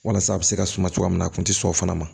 Walasa a bɛ se ka suma cogoya min na a kun tɛ sɔn o fana ma